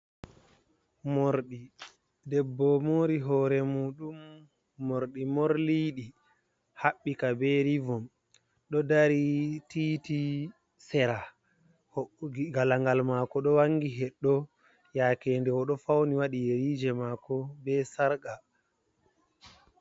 Morɗi debbo mori hore muɗum morɗi morliɗi haɓɓika be ribom ɗo dari titi sera galangal mako ɗo wangi heɗɗo yake nde o do fauni wati yeriji mako be sarqa.